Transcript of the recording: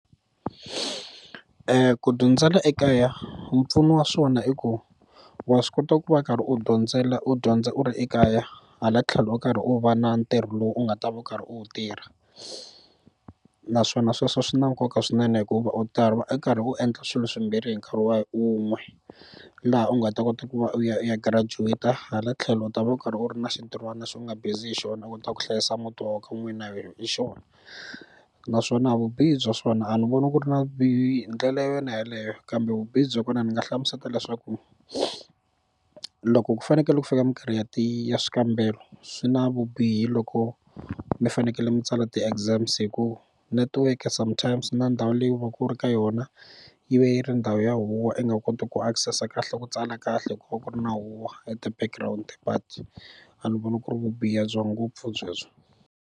Ku dyondzela ekaya mpfuno wa swona i ku wa swi kota ku va karhi u dyondzela u dyondza u ri ekaya hala tlhelo u karhi u va na ntirho lowu u nga ta va u karhi u wu tirha naswona sweswo swi na nkoka swinene hikuva u ta va u karhi u endla swilo swimbirhi hi nkarhi wa un'we laha u nga ta kota ku va u ya u ya girajuweta hala tlhelo u ta va u karhi u ri na xintirhwana lexi u nga busy hi xona u kota ku hlayisa muti wa ka n'wina hi xona naswona vubihi bya swona a ni voni ku ri na vubihi hi ndlela yona yeleyo kambe vubihi bya kona ni nga hlamuseta leswaku loko ku fanekele ku fika mikarhi ya ti ya swikambelo swi na vubihi loko mi fanekele mi tsala ti exams hi ku network sometimes na ndhawu leyi u va ku u ri ka yona yi va yi ri ndhawu huhwa i nga koti ku access kahle ku tsala kahle hikuva ku ri na huhwa eti-background but a ni voni ku ri vubihi bya ngopfu byebyo.